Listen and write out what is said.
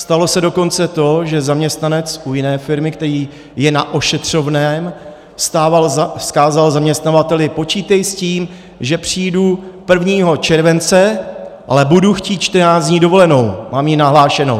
Stalo se dokonce to, že zaměstnanec u jiné firmy, který je na ošetřovném, vzkázal zaměstnavateli: Počítej s tím, že přijdu 1. července, ale budu chtít 14 dní dovolenou, mám ji nahlášenou.